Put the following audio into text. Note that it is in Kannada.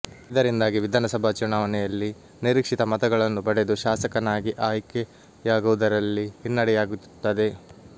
ಇದರಿಂದಾಗಿ ವಿಧಾನ ಸಭಾ ಚುನಾವಣೆಯಲ್ಲಿ ನಿರೀಕ್ಷಿತ ಮತಗಳನ್ನು ಪಡೆದು ಶಾಸಕನಾಗಿ ಆಯ್ಕೆಯಾಗುವುದರಲ್ಲಿ ಹಿನ್ನಡೆಯಾಗಿರುತ್ತದೆ